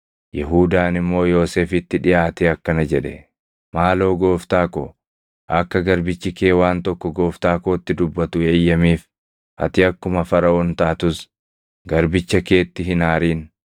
Yihuudaan immoo Yoosefitti dhiʼaatee akkana jedhe: “Maaloo gooftaa ko, akka garbichi kee waan tokko gooftaa kootti dubbatu eeyyamiif. Ati akkuma Faraʼoon taatus garbicha keetti hin aarin.